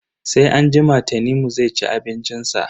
Sai anjima Tanimu zai ci abincin sa.